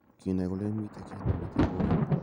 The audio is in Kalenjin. "kinai kolen miten kit nemiten kowek.